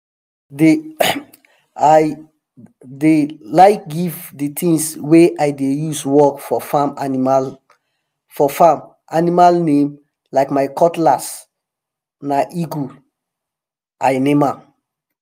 dey i um dey um like give di tins wey i dey use work for farm animal name like my cutlass na eagle i name am.